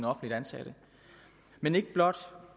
offentligt ansatte men ikke blot